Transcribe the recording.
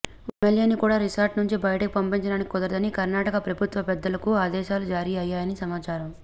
ఒక్క ఎమ్మెల్యేని కూడా రిసార్ట్ నుంచి బయటకు పంపించడానికి కుదరదని కర్ణాటక ప్రభుత్వ పెద్దలకు ఆదేశాలు జారీ అయ్యాయని సమాచారం